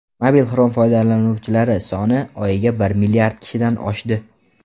Mobil Chrome foydalanuvchilari soni oyiga bir milliard kishidan oshdi.